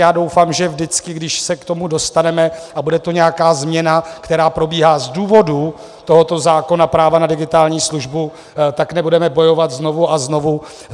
Já doufám, že vždycky, když se k tomu dostaneme a bude to nějaká změna, která probíhá z důvodu tohoto zákona práva na digitální službu, tak nebudeme bojovat znovu a znovu.